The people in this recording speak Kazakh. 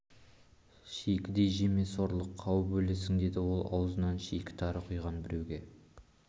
шикідей жеме сорлы кеуіп өлесің деді ол аузына шикі тары құйған біреуге